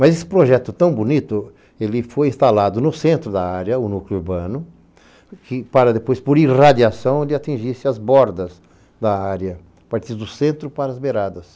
Mas esse projeto tão bonito, ele foi instalado no centro da área, o núcleo urbano, que para depois, por irradiação, ele atingisse as bordas da área, partiu do centro para as beiradas.